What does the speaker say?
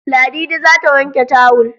Ladidi za ta wanke tawul